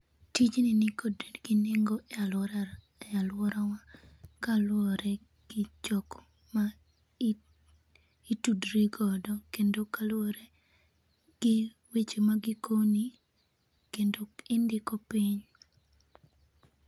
Tijni nikod nengo e aluorawa kaluwore gi jok ma itudri godo, kendo ka luwore gi weche ma gikoki kendo indiko piny.